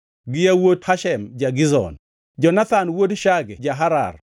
gi yawuot Hashem ja-Gizon, Jonathan wuod Shage ja-Harar,